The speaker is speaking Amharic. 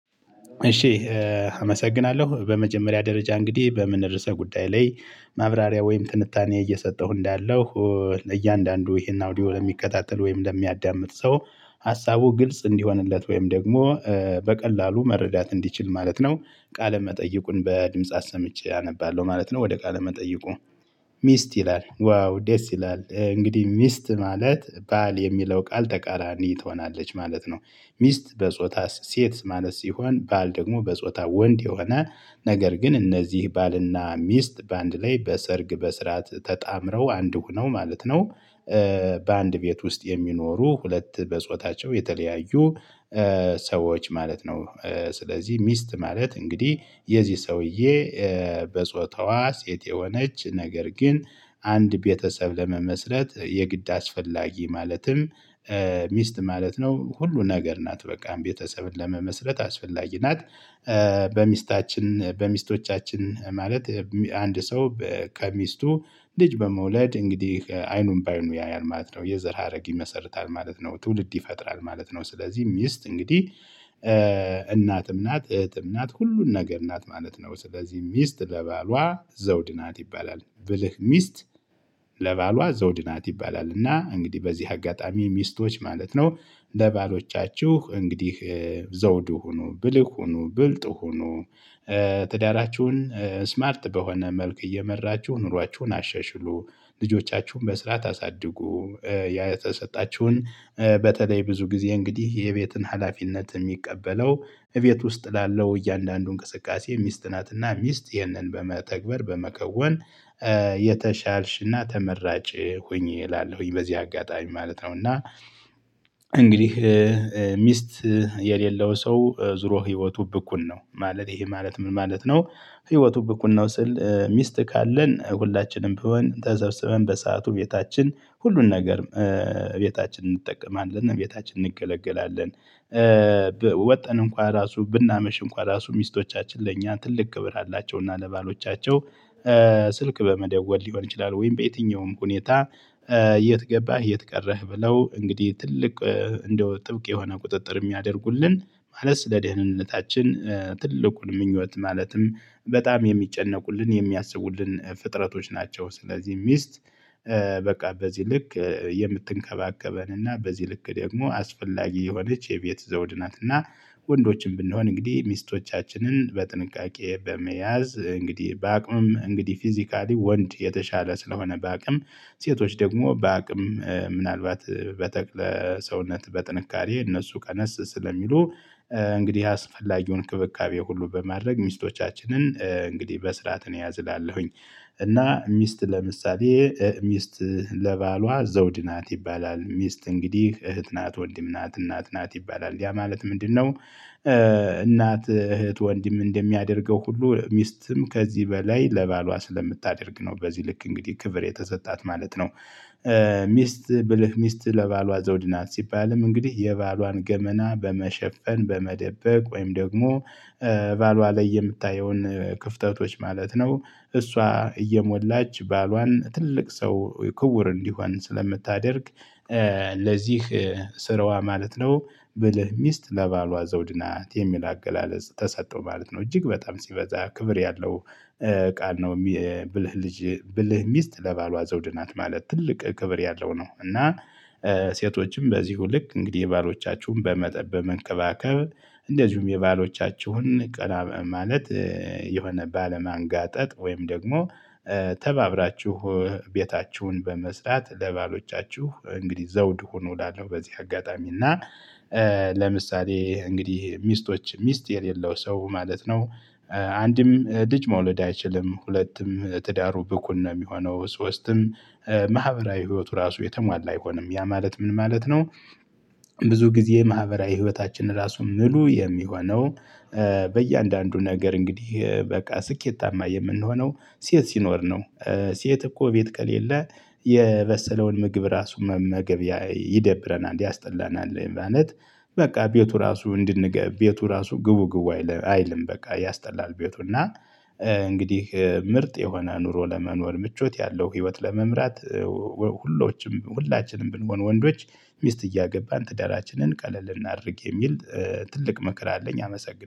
እሺ። አመሰግናለሁ በመጀመሪያ ደረጃ እንግዲህ በምን ርዕሰ ጉዳይ ላይ ማብራሪያ ወይም ትንታኔ እየሰጠሁ እንዳለሁ እያንዳንዱ ይሄን አውዲዮ ለሚከታተል ወይም ለሚያዳምጥ ሰው ሀሳቡ ግልጽ እንዲሆንለት ወይም ደግሞ በቀላሉ መረዳት እንዲችል ማለት ነው። ቃለ መጠይቁን በድምጽ አሰምቼ አነባለሁ ማለት ነው ወደ ቃለ መጠይቁ። ሚስት ይላል ዋው ደስ ይላል እንግዲህ ሚስት ማለት ባል የሚለው ቃል ተቃራኒ ትሆናለች ማለት ነው። ሚስት በጾታ ሴት ማለት ሲሆን ባል ደግሞ በጾታ ወንድ የሆነ ነገር ግን እነዚህ ባልና ሚስት በአንድ ላይ በሰርግ በስርዓት ተጣምረው አንዱ ነው ማለት ነው። በአንድ ቤት ውስጥ የሚኖሩ ሁለት በጾታቸው የተለያዩ ሰዎች ማለት ነው። ስለዚህ ሚስት ማለት እንግዲህ የዚህ ሰውዬ በጾታዋ ሴት የሆነች ነገር ግን አንድ ቤተሰብ ለመመስረት የግድ አስፈላጊ ማለትም ሚስት ማለት ነው ሁሉ ነገር ናት በቃም ቤተሰብን ለመመስረት አስፈላጊ ናት። በሚስታችን በሚስቶቻችን ማለት አንድ ሰው ከሚስቱ ልጅ በመውለድ እንግዲህ አይኑን ባይኑ ያያል ማለት ነው የዘር ሀረግ ይመሰርታል ማለት ነው ትውልድ ይፈጥራል ማለት ነው። ስለዚህ ሚስት እንግዲህ እናትም ናት እህትም ናት ሁሉን ነገር ናት ማለት ነው። ስለዚህ ሚስት ለባሏ ዘውድ ናት ይባላል ብልህ ሚስት። ለባሏ ዘውድ ናት ይባላል እና እንግዲህ በዚህ አጋጣሚ ሚስቶች ማለት ነው። ለባሎቻችሁ እንግዲህ ዘውድ ሁኑ ብልህ ሁኑ ብልጥ ሁኑ። ትዳራችሁን ስማርት በሆነ መልክ እየመራችሁ ኑሯችሁን አሸሽሉ። ልጆቻችሁን በስራ ታሳድጉ። የተሰጣችሁን በተለይ ብዙ ጊዜ እንግዲህ የቤትን ሀላፊነት የሚቀበለው እቤት ውስጥ ላለው እያንዳንዱ እንቅስቃሴ ሚስት ናትና ሚስት ይህንን በመተግበር በመከወን የተሻልሽና ተመራጭ ሁኚ እላለሁኝ። በዚህ አጋጣሚ ማለት ነው እና እንግዲህ ሚስት የሌለው ሰው ዙሮ ህይወቱ ብኩን ነው። ማለት ይሄ ማለት ምን ማለት ነው? ህይወቱ ብኩን ነው ስል ሚስት ካለን ሁላችንም ቢሆን ተሰብስበን በሰአቱ ቤታችን ሁሉን ነገር። ቤታችን እንጠቀማለን እና ቤታችን እንገለገላለን። ወጥተን እንኳን ራሱ ብናመሽ እንኳን ራሱ ሚስቶቻችን ለእኛ ትልቅ ክብር አላቸው። እና ለባሎቻቸው ስልክ በመደወል ሊሆን ይችላል ወይም በየትኛውም ሁኔታ። የት ገባህ የት ቀረህ? ብለው እንግዲህ ትልቅ እንደው ጥብቅ የሆነ ቁጥጥር የሚያደርጉልን ማለት ስለ ደህንነታችን ትልቁን ምኞት ማለትም በጣም የሚጨነቁልን የሚያስቡልን ፍጥረቶች ናቸው። ስለዚህ ሚስት በቃ በዚህ ልክ የምትንከባከበን እና በዚህ ልክ ደግሞ አስፈላጊ የሆነች የቤት ዘውድ ናትና። ወንዶችም ብንሆን እንግዲህ ሚስቶቻችንን በጥንቃቄ በመያዝ እንግዲህ በአቅምም እንግዲህ ፊዚካሊ ወንድ የተሻለ ስለሆነ በአቅም ሴቶች ደግሞ በአቅም ምናልባት በተክለ ሰውነት በጥንካሬ እነሱ ቀነስ ስለሚሉ እንግዲህ አስፈላጊውን ክብካቤ ሁሉ በማድረግ ሚስቶቻችንን እንግዲህ በስርዓት እያዝላለሁኝ። እና ሚስት ለምሳሌ ሚስት ለባሏ ዘውድ ናት ይባላል ሚስት እንግዲህ እህት ናት ወንድም ናት እናት ናት ይባላል ያ ማለት ምንድነው? እናት እህት ወንድም እንደሚያደርገው ሁሉ ሚስትም ከዚህ በላይ ለባሏ ስለምታደርግ ነው በዚህ ልክ እንግዲህ ክብር የተሰጣት ማለት ነው። ሚስት ብልህ ሚስት ለባሏ ዘውድ ናት ሲባልም እንግዲህ የባሏን ገመና በመሸፈን በመደበቅ ወይም ደግሞ ባሏ ላይ የምታየውን ክፍተቶች ማለት ነው። እሷ እየሞላች ባሏን ትልቅ ሰው ክቡር እንዲሆን ስለምታደርግ። ለዚህ ስራዋ ማለት ነው። ብለህ ሚስት ለባሏ ዘውድ ናት የሚል አገላለጽ ተሰጠው ማለት ነው እጅግ በጣም ሲበዛ ክብር ያለው ቃል ነው። ብልህ ሚስት ለባሏ ዘውድ ናት ማለት ትልቅ ክብር ያለው ነው። እና ሴቶችም በዚሁ ልክ እንግዲህ የባሎቻችሁን በመጠብ በመንከባከብ። እንደዚሁም የባሎቻችሁን ቀና ማለት የሆነ ባለማንጋጠጥ ወይም ደግሞ ተባብራችሁ ቤታችሁን በመስራት ለባሎቻችሁ እንግዲህ ዘውድ ሆኖ እላለሁ በዚህ አጋጣሚ እና። ለምሳሌ እንግዲህ ሚስቶች ሚስት የሌለው ሰው ማለት ነው። አንድም ልጅ መውለድ አይችልም ሁለቱም ትዳሩ ብኩን ነው የሚሆነው። ሶስትም ማህበራዊ ህይወቱ ራሱ የተሟላ አይሆንም ያ ማለት ምን ማለት ነው? ብዙ ጊዜ ማህበራዊ ህይወታችን ራሱ ሙሉ የሚሆነው በእያንዳንዱ ነገር እንግዲህ በቃ ስኬታማ የምንሆነው ሴት ሲኖር ነው። ሴት እኮ ቤት ከሌለ የበሰለውን ምግብ ራሱ መመገብ ይደብረናል ያስጠላናል ማለት። በቃ ቤቱ ራሱ ቤቱ ራሱ ግቡ ግቡ አይልም በቃ ያስጠላል ቤቱ እና። እንግዲህ ምርጥ የሆነ ኑሮ ለመኖር ምቾት ያለው ህይወት ለመምራት። ሁላችንም ብንሆን ወንዶች ሚስት እያገባን ትዳራችንን ቀለል እናድርግ የሚል ትልቅ ምክር አለኝ አመሰግናለሁ